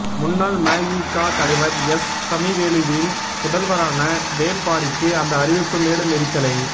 முன்னாள் மஇகா தலைவர் எஸ் சமிவேலுவின் புதல்வரான வேள்பாரிக்கு அந்த அறிவிப்பு மேலும் எரிச்சலை